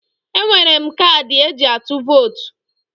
Enwere m kaadị eji atụ votu